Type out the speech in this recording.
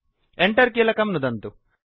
Enter कीलकं नुदन्तु